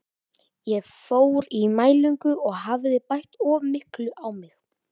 Ég fór í mælingu og hafði bætt of miklu á mig.